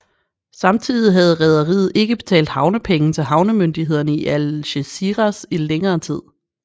Samtidig havde rederiet ikke betalt havnepenge til havnemyndighederne i Algeciras i længere tid